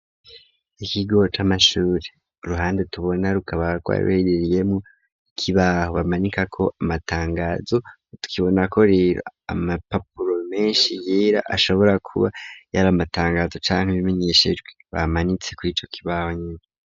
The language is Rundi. Ikigo c'amashure uruhande tubona rukaba gwari ruherereyemwo ikibaho bamanika ko amatangazo tukabona ko rera amapapuro menshi yera ashobora kuba yari amatangazo ca nkibimenyeshejwe bamanitse kur'ico kibaho.